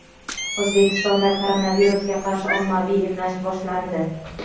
O‘zbekistonda koronavirusga qarshi ommaviy emlash boshlandi.